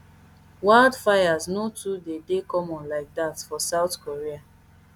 wildfires no too dey dey common like dat for south korea